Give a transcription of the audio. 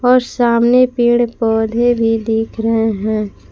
और सामने पेड़ पौधे भी दिख रहे हैं।